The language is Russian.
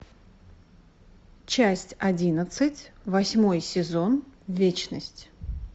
часть одиннадцать восьмой сезон вечность